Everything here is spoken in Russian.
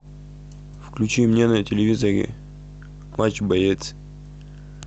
включи мне на телевизоре матч боец